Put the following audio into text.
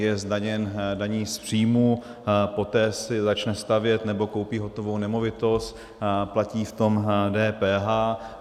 Je zdaněn daní z příjmu, poté si začne stavět, nebo koupí hotovou nemovitost, platí v tom DPH.